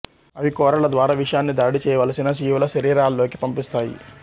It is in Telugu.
అవి కోరల ద్వారా విషాన్ని దాడి చేయవలసిన జీవుల శరీరాల్లోకి పంపిస్తాయి